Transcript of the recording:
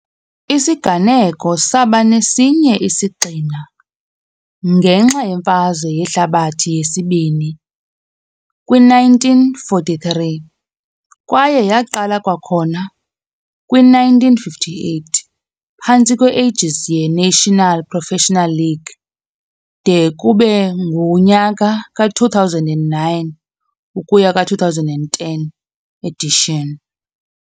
Isiganeko saba nesinye isigxina, ngenxa yeMfazwe Yehlabathi yesibini, kwi-1943, kwaye yaqala kwakhona kwi -1958 phantsi kwe-aegis ye- National Professional League de kube ngunyaka ka-2009-2010 edition.